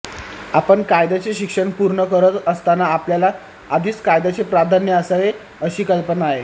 आपण कायद्याचे शिक्षण पूर्ण करत असतांना आपल्याला आधीच कायद्याचे प्राधान्य असावे अशी कल्पना आहे